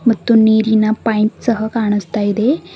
ಮತ್ತು ನೀರಿನ ಪೈಪ್ ಸಹ ಕಾಣಿಸ್ತಾ ಇದೆ.